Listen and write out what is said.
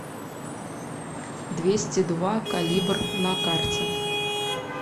двести два калибр на карте